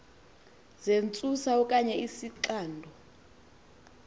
zentsusa okanye izixando